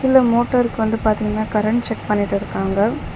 இதுல மோட்டார்க்கு வந்து பாத்தீங்கன்னா கரண்ட் செக் பண்ணிட்டிருக்காங்க.